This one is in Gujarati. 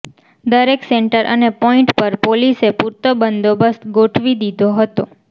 દરેક સેન્ટર અને પોઈન્ટ પર પોલીસે પૂરતો બંદોબસ્ત ગોઠવી દીધો હતો